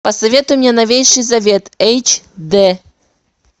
посоветуй мне новейший завет эйч дэ